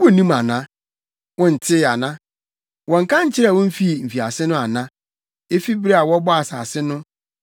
Wunnim ana? Wontee ana? Wɔnnka nkyerɛɛ wo mfii mfiase no ana? Efi bere a wɔbɔɔ asase no, wontee ase ana?